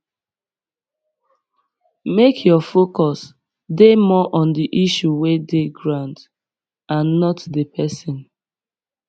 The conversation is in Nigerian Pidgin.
make your focus dey more on the issue wey dey ground and not di person